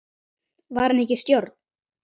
Var hann ekki í stjórn?